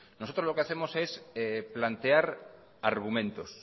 nosotros lo que hacemos es plantear argumentos